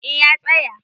eh ya tsaya